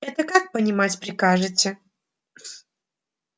это как понимать прикажете